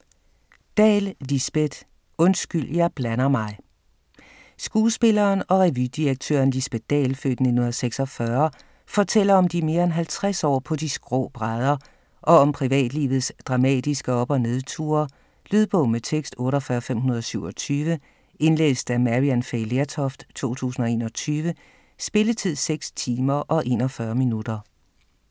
Dahl, Lisbet: Undskyld, jeg blander mig Skuespilleren og revydirektøren Lisbet Dahl (f. 1946) fortæller om de mere end 50 år på de skrå brædder, og om privatlivets dramatiske op- og nedture. Lydbog med tekst 48527 Indlæst af Maryann Fay Lertoft, 2021. Spilletid: 6 timer, 41 minutter.